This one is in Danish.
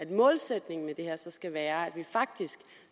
at målsætningen med det her så skal være at vi faktisk